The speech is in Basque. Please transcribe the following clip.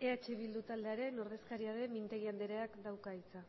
eh bildu taldearen ordezkaria den mintegi andreak dauka hitza